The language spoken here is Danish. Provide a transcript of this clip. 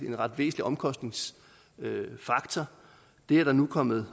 en ret væsentlig omkostningsfaktor og det er der nu kommet